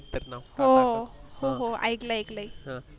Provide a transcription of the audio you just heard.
तर मग हो हो ऐकलं ऐकलंय आहे